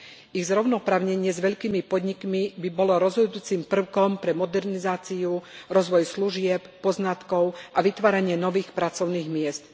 Ich zrovnoprávnenie s veľkými podnikmi by bolo rozhodujúcim prvkom pre modernizáciu, rozvoj služieb, poznatkov a vytvárania nových pracovných miest.